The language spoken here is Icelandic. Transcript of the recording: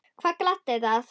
Hvað gladdi það?